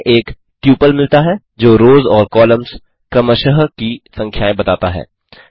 हमें एक ट्यूपल मिलता है जो रोस और कॉलम्स क्रमशः की संख्याएँ बताता है